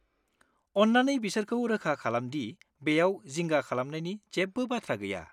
अन्नानै बिसोरखौ रोखा खालामदि बेयाव जिंगा खालामनायनि जेबो बाथ्रा गैया।